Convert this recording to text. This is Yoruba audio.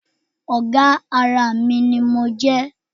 Ọ̀gá ara mi ni mo jẹ́